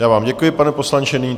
Já vám děkuji, pane poslanče.